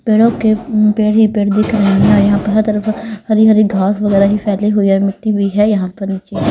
पेड़ों के उम पेड़ ही पेड़ दिख रहे हैं यहां पर हर तरफ हरी हरी घास वगैरह ही फैली हुई है मिट्टी भी है यहां पर जे --